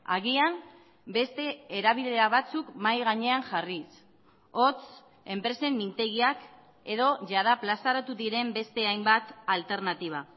agian beste erabilera batzuk mahai gainean jarriz hots enpresen mintegiak edo jada plazaratu diren beste hainbat alternatiba